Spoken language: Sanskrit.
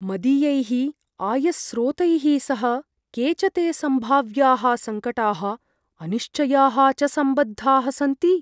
मदीयैः आयस्रोतैः सह के च ते सम्भाव्याः सङ्कटाः अनिश्चयाः च सम्बद्धाः सन्ति?